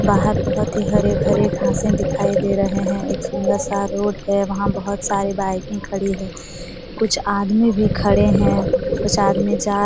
बाहर बहोत ही हरे-भरे घांसे दिखाई दे रहे हैं एक सुंदर-सा रोड है वहां बहोत सारे बाइकें खड़ी है कुछ आदमी भी खड़े हैं कुछ आदमी जा --